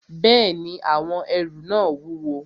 Bẹ́ẹ̀ni, àwọn ẹrù náà wúwo